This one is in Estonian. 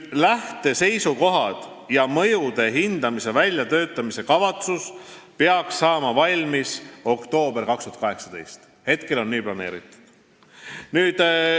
Lähteseisukohad ja mõjude hindamise väljatöötamiskavatsus peaksid saama valmis oktoobris 2018, hetkel on nii planeeritud.